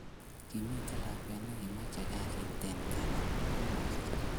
Kimiten lakwet nekimache kasit en kabarak komasich